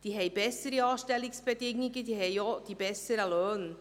Sie haben bessere Anstellungsbedingungen, sie haben auch die besseren Löhne.